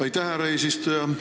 Aitäh, härra eesistuja!